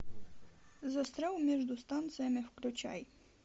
застрял между станциями включай